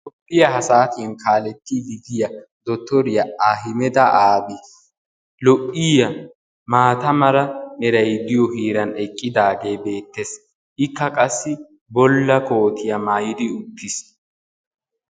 Toophphiyaa ha saatiyaan kaalettiidi de'iyaa dottoriyaa ahimeda aabi lo"iyaa maata meray de'iyoo heeran eqqidagee beettees. ikka qassi bulla kootiyaa maayidi uttiis.